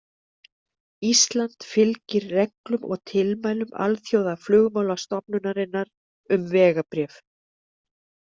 Ísland fylgir reglum og tilmælum Alþjóðaflugmálastofnunarinnar um vegabréf.